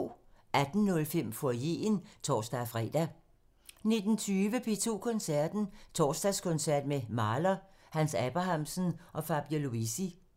18:05: Foyeren (tor-fre) 19:20: P2 Koncerten – Torsdagskoncert med Mahler, Hans Abrahamsen og Fabio Luisi